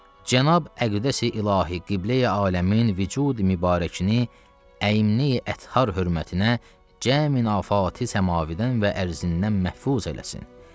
Cənab Əqdəsi İlahi Qibləyi aləmin vücud-mübarəkini əiməyi ətharın hörmətinə cəmi nafati səmaviyədən və ərziyyədən məhfuz eləsin.